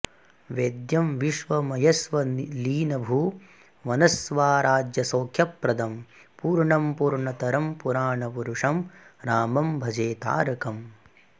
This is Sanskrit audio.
वेद्यं विश्वमयस्वलीनभुवनस्वाराज्यसौख्यप्रदं पूर्णं पूर्णतरं पुराणपुरुषं रामं भजे तारकम्